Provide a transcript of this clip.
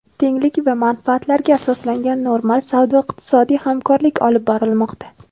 tenglik va manfaatlarga asoslangan normal savdo-iqtisodiy hamkorlik olib bormoqda.